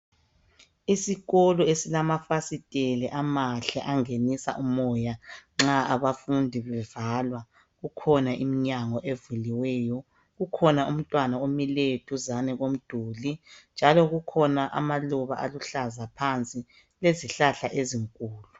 Isikolo esilamafasitela amahle angenisa umoya nxa abafundi bebhala kukhona iminyango evuliweyo kukhona umntwana omileyo duzane komduli njalo kukhona amaluba aluhlaza phansi kwezihlahla ezinkulu